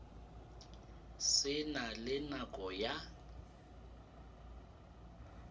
se na le nako ya